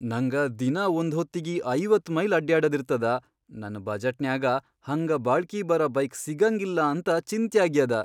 ನಂಗ ದಿನಾ ಒಂದ್ಹೊತ್ತಿಗಿ ಐವತ್ ಮೈಲ್ ಅಡ್ಯಾಡದಿರ್ತದ, ನನ್ ಬಜೆಟ್ನ್ಯಾಗ ಹಂಗ ಬಾಳ್ಕಿ ಬರ ಬೈಕ್ ಸಿಗಂಗಿಲ್ಲಂತ ಚಿಂತ್ಯಾಗ್ಯಾದ.